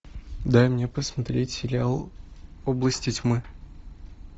дай мне посмотреть сериал области тьмы